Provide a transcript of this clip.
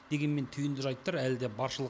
дегенмен түйінді жайттар әлі де баршылық